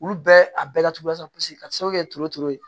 Olu bɛɛ a bɛɛ laturu la sa ka sababu kɛ turu turu